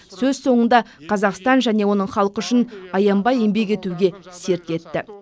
сөз соңында қазақстан және оның халқы үшін аянбай еңбек етуге серт етті